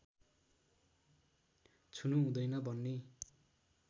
छुनु हुँदैन भन्ने